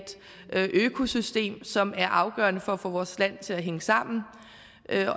økosystem som er afgørende for at få vores land til at hænge sammen